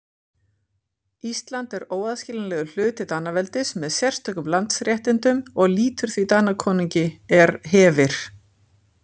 Ísland er óaðskiljanlegur hluti Danaveldis með sérstökum landsréttindum og lýtur því Danakonungi er hefir.